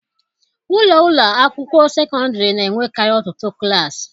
Ụlọ ụlọ akwụkwọ sekọndịrị na-enwekarị ọtụtụ klaasị.